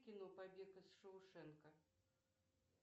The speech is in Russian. кино побег из шоушенка